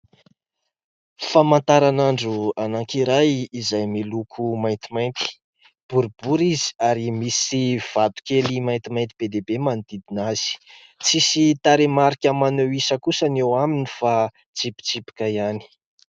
Famantaranandro anankiray izay miloko maintimainty. Boribory izy ary misy vatokely maintimainty be dia be manodidina azy. Tsisy tarehimarika maneho isa kosa ny eo aminy fa tsipitsipika ihany.